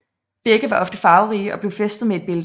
Begge var ofte farverige og blev fæstet med et bælte